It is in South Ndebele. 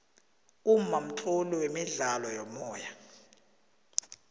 umma mtloli wemidlalo yomoya